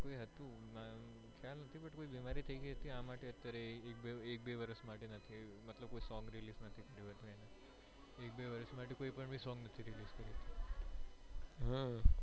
કોઈ હતું ખ્યાલ નથી but લો બીમારી થઇ ગયી હતી આ માટે એક બે વર્ષ માટે કોઈ sond release નથી કર્યું